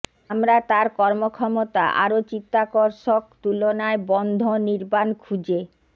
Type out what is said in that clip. আমরা তার কর্মক্ষমতা আরো চিত্তাকর্ষক তুলনায় বন্ধ নির্বাণ খুঁজে